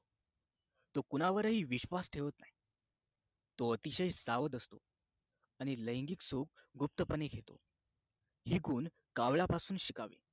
तो कुणावरही विश्वास ठेवत नाही तो अतिशय सावध असतो आणि लैंगिक सुख गुप्तपणे घेतो ही गुण कावळ्यापासून शिकावी